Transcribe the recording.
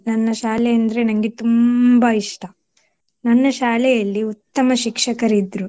ನನ್ನ ಶಾಲೆ ಅಂದ್ರೆ ನಂಗೆ ತುಂಬಾ ಇಷ್ಟ. ನನ್ನ ಶಾಲೆಯಲ್ಲಿ ಉತ್ತಮ ಶಿಕ್ಷಕರಿದ್ರು .